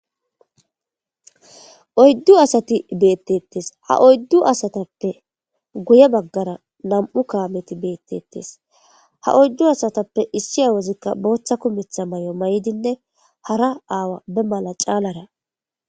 oyddu asati beettettes ha oyddu asatappe guye baggara nam7u kaameti beettettes ha oyddu asatappe issiyawozikka booththa kumetha may7o may7dinne hara aawa be mala caalara